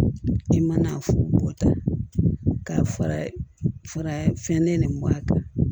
I mana bɔ ta ka fara fara fɛn nin a kan